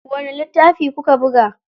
Wani littafi kuka buga?